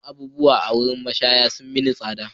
Kuɗin abubuwan sha a wurin mashaya sun yi mini tsada.